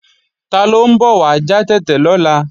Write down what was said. Taló ń bọ̀ wá já tètè lọ́la